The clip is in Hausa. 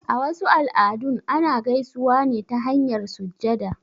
A wasu al'adun, ana gaisuwa ne ta hanyar sujjada.